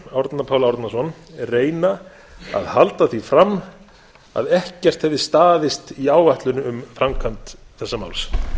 árna pál árnason reyna að halda því fram að ekkert hefði staðist í áætlun um framkvæmd þessa máls